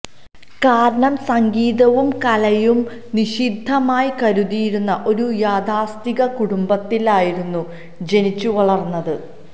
കാരണം സംഗീതവും കലയും നിഷിദ്ധമായി കരുതിയിരുന്ന ഒരു യാഥാസ്ഥിതിക കുടുംബ ത്തിലായിരുന്നു ജനിച്ചു വളര്ന്നത്